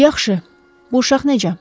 “Yaxşı, bu uşaq necə?